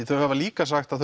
þau hafa líka sagt að